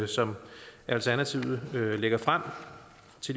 som alternativet lægger frem